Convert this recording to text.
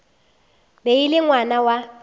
be e le ngwana wa